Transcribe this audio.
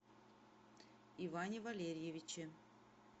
иване валерьевиче